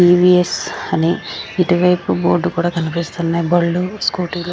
TVS అనే ఇటు వైపు బోర్డ్లు కనిపిస్తున్నాయి బండ్లు స్కూటీ ల్--